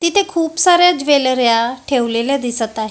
तिथे खूप साऱ्या ज्वेलर्या ठेवलेल्या दिसत आहे.